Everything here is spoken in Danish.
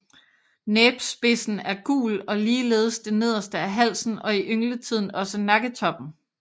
Næbspidsen er gul og ligeledes det nederste af halsen og i yngletiden også nakketoppen